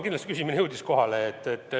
Ma arvan, et küsimus jõudis kindlasti kohale.